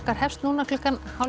hefst núna klukkan hálf